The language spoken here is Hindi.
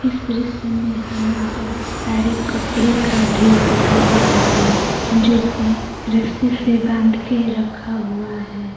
इस दृश्य में हमें बहुत सारे कपड़े का ढेर दिखाई दे रहा है जो की रस्सी से बाध के रखा--